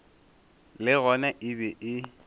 le gona e be e